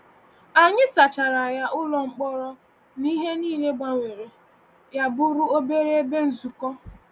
Anyị sachara ya-ụlọ mkpọrọ na ihe niile-gbanwee ya bụrụ obere ebe nzukọ.